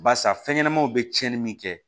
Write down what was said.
Barisa fɛn ɲɛnamaw bɛ cɛnni min kɛ